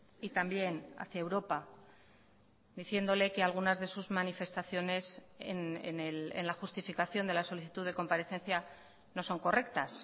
y también hacia europa diciéndole que algunas de sus manifestaciones en la justificación de la solicitud de comparecencia no son correctas